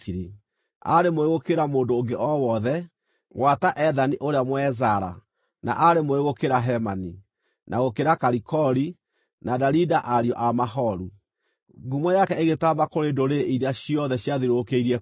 Aarĩ mũũgĩ gũkĩra mũndũ ũngĩ o wothe, gwata Ethani ũrĩa Mũezara, na aarĩ mũũgĩ gũkĩra Hemani, na gũkĩra Kalikoli, na Darida, ariũ a Maholu. Ngumo yake ĩgĩtaamba kũrĩ ndũrĩrĩ iria ciothe ciathiũrũrũkĩirie kũu.